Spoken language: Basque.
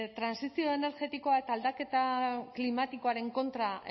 trantsizio energetiko eta aldaketa klimatikoaren kontra